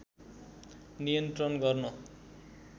नियन्त्रण गर्न